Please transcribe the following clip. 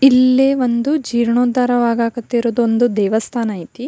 ಇಲ್ಲೇ ಒಂದು ಜೀರ್ಣೋದ್ದಾರ ಆಗಾಕ್ ಹತ್ತಿರೋದ್ ಒಂದು ದೇವಸ್ಥಾನ ಅಯ್ತಿ.